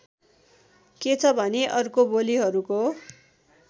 के छ भने अर्को बोलीहरूको